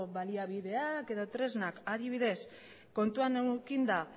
baliabideak edo tresnak adibidez kontuan edukita